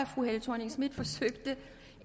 fru helle thorning schmidt forsøgte